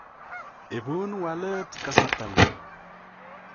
Ibuun walet kasartang'ung'.